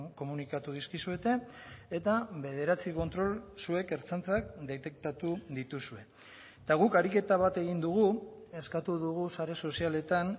komunikatu dizkizuete eta bederatzi kontrol zuek ertzaintzak detektatu dituzue eta guk ariketa bat egin dugu eskatu dugu sare sozialetan